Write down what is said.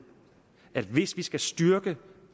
at hvis vi skal styrke